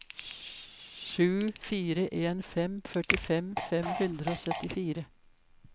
sju fire en fem førtifem fem hundre og syttifire